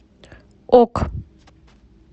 ок